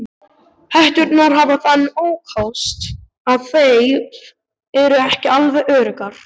Hetturnar hafa þann ókost að þær eru ekki alveg öruggar.